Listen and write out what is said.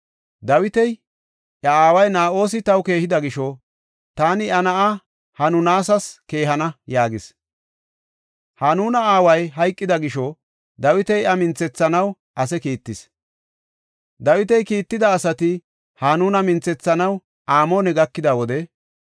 Dawiti, “Iya aaway Na7oosi taw keehida gisho taani iya na7aa Hanunas keehana” yaagis. Hanuna aaway hayqida gisho Dawiti iya minthethanaw ase kiittis. Dawiti kiitida asati Hanuna minthethanaw Amoone gakida wode,